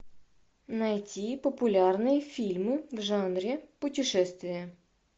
найти популярные фильмы в жанре путешествия